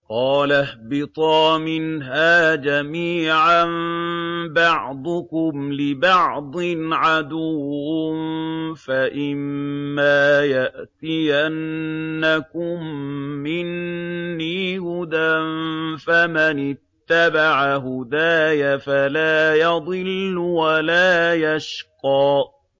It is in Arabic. قَالَ اهْبِطَا مِنْهَا جَمِيعًا ۖ بَعْضُكُمْ لِبَعْضٍ عَدُوٌّ ۖ فَإِمَّا يَأْتِيَنَّكُم مِّنِّي هُدًى فَمَنِ اتَّبَعَ هُدَايَ فَلَا يَضِلُّ وَلَا يَشْقَىٰ